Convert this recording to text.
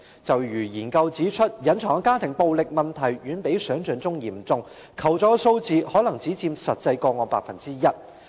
正如研究指出，隱藏的家庭暴力問題遠比想象嚴重，求助數字可能只佔實際個案的 1%。